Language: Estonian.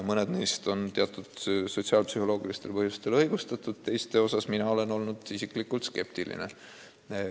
Mõned neist on teatud sotsiaalpsühholoogilistel põhjustel õigustatud, teiste osas olen mina isiklikult skeptiline.